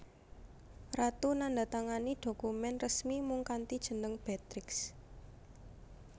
Ratu nandhatangani dhokumèn resmi mung kanthi jeneng Beatrix